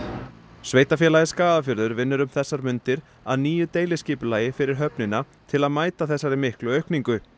sveitarfélagið Skagafjörður vinnur um þessar mundir að nýju deiliskipulagi fyrir höfnina til að mæta þessari miklu aukningu